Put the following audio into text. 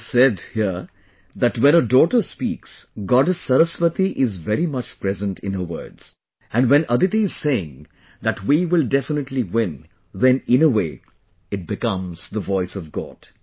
It is said here that when a daughter speaks, Goddess Saraswati is very much present in her words and when Aditi is saying that we will definitely win, then in a way it becomes the voice of God